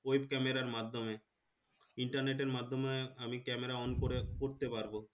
web camera র মাধ্যমে internet এর মধ্যমে আমি camera on করে করতে পারবো